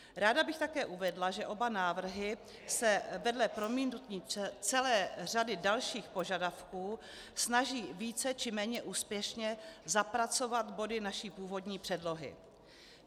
Ráda bych také uvedla, že oba návrhy se vedle promítnutí celé řady dalších požadavků snaží více či méně úspěšně zapracovat body naší původní předlohy.